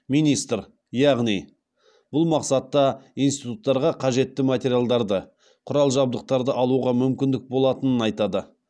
министр яғни бұл мақсатта институттарға қажетті материалдарды құрал жабдықтарды алуға мүмкіндік болатынын айтады